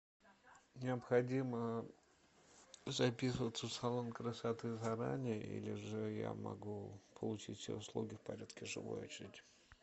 необходимо записываться в салон красоты заранее или же я могу получить все услуги в порядке живой очереди